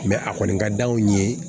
a kɔni ka d'anw ye